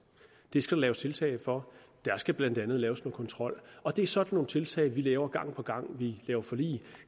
det skal der laves tiltag for der skal blandt andet laves en kontrol og det er sådan nogle tiltag vi laver gang på gang når vi laver forlig